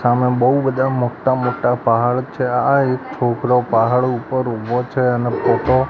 સામે બઉ બધા મોટા મોટા પહાડ છે આ એક છોકરો પહાડ ઉપર ઊભો છે અને ફોટો --